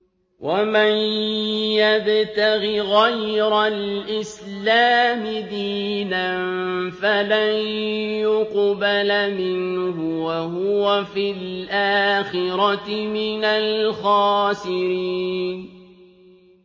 وَمَن يَبْتَغِ غَيْرَ الْإِسْلَامِ دِينًا فَلَن يُقْبَلَ مِنْهُ وَهُوَ فِي الْآخِرَةِ مِنَ الْخَاسِرِينَ